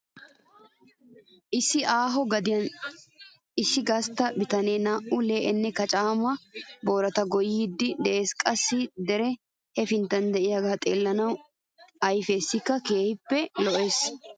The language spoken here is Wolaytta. Issi aaho gadiya issi gastta bitanee naa"u lee'enne kacaama boorata goyyiiddi de'es. Qassi deree hepinttan diyagee xeellanawu ayifiyassi keehi lo'es.